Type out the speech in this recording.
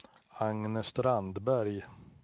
Agne Strandberg